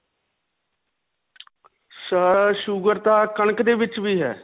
sir, sugar ਤਾਂ ਕਣਕ ਦੇ ਵਿੱਚ ਵੀ ਹੈ.